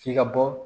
F'i ka bɔ